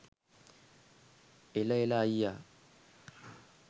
එල එල අයියා